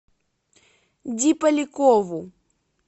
ди полякову